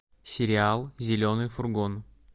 сериал зеленый фургон